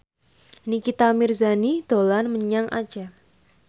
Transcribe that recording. Nikita Mirzani dolan menyang Aceh